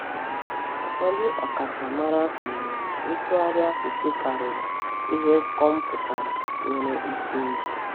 Ụfọdụ ọkachamara kwenyere na ntụgharị asụsụ karịrị ihe kọmpụta nwere ike ime.